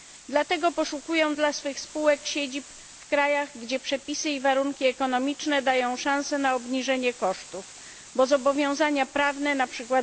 Dlatego poszukują dla swych spółek siedzib w państwach, gdzie przepisy i warunki ekonomiczne dają szansę na obniżenie kosztów, bo zobowiązania prawne, np.